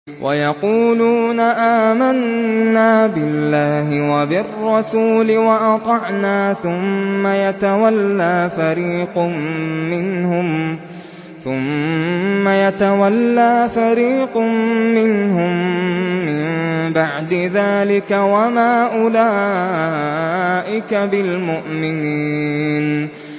وَيَقُولُونَ آمَنَّا بِاللَّهِ وَبِالرَّسُولِ وَأَطَعْنَا ثُمَّ يَتَوَلَّىٰ فَرِيقٌ مِّنْهُم مِّن بَعْدِ ذَٰلِكَ ۚ وَمَا أُولَٰئِكَ بِالْمُؤْمِنِينَ